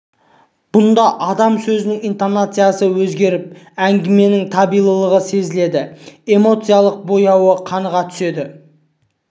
бұнда адам сөзінің интонациясы өзгеріп әңгіменің табиғилығы сезіледі эмоциялық бояуы қаныға түседі